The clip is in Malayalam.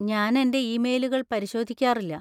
ഞാൻ എന്‍റെ ഇമെയിലുകൾ പരിശോധിക്കാറില്ല.